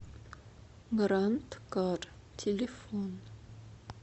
грандкар телефон